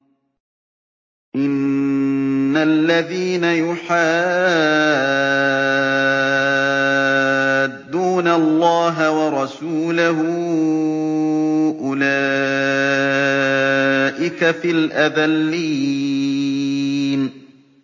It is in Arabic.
إِنَّ الَّذِينَ يُحَادُّونَ اللَّهَ وَرَسُولَهُ أُولَٰئِكَ فِي الْأَذَلِّينَ